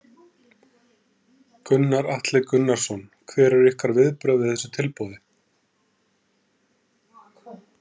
Gunnar Atli Gunnarsson: Hver eru ykkar viðbrögð við þessu tilboði?